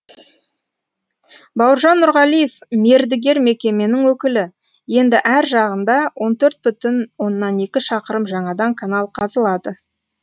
бауыржан нұрғалиев мердігер мекеменің өкілі енді әр жағында он төрт бүтін оннан екі шақырым жаңадан канал қазылады